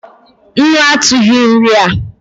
Nnu atughi nri a